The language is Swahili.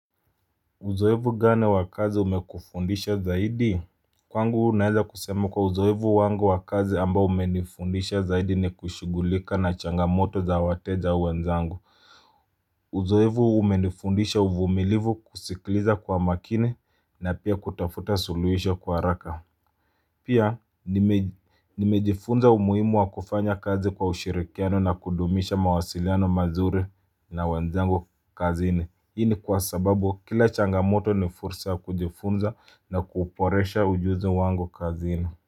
Uzoevu gani wa kazi umekufundisha zaidi? Kwangu naeza kusema kwa uzoevu wangu wa kazi ambao umenifundisha zaidi ni kushughulika na changamoto za wateja wenzangu Uzoevu umenifundisha uvumilivu kuskiliza kwa makini na pia kutafuta suluhisho kwa haraka Pia nimejifunza umuhimu wa kufanya kazi kwa ushirikiano na kudumisha mawasiliano mazuri na wenzangu kazini Hii ni kwa sababu kila changamoto ni fursa ya kujifunza na kuboresha ujuzi wangu kazini.